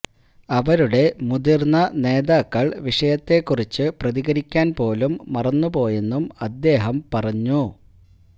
അവരുടെ മുതിര്ന്ന നേതാക്കള് വിഷയത്തെക്കുറിച്ചു പ്രതികരിക്കാന് പോലും മറന്നുപോയന്നും അദ്ദേഹം പറഞ്ഞു